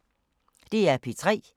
DR P3